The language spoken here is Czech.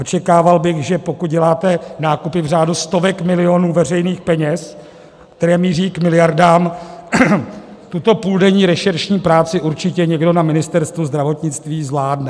Očekával bych, že pokud děláte nákupy v řádu stovek milionů veřejných peněz, které míří k miliardám, tuto půldenní rešeršní práci určitě někdo na Ministerstvu zdravotnictví zvládne.